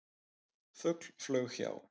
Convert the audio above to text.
Fugl flaug hjá.